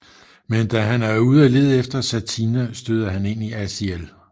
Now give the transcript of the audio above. Men da han er ude af lede efter Satina støder han ind i Aziel